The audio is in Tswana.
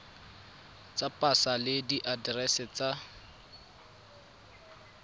tsa pasa le diaterese tsa